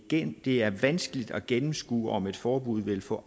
det er vanskeligt at gennemskue om et forbud vil få